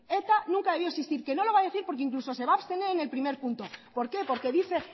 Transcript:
eta nunca debió existir que no lo va a decir porque incluso se va a abstener en el primer punto por qué porque dice